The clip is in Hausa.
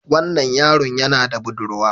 Wannan yaron yana da budurwa